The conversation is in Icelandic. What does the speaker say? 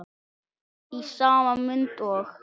Í sama mund og